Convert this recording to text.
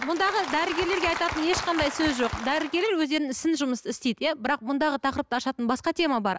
бұндағы дәрігерлерге айтатын ешқандай сөз жоқ дәрігерлер өздерінің ісін жұмысты істейді иә бірақ бұндағы тақырыпты ашатын басқа тема бар